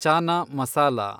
chana masala